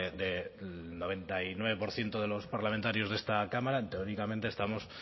del noventa y nueve por ciento de los parlamentarios de esta cámara teóricamente estamos